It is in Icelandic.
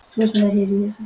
Kaj, hvað er klukkan?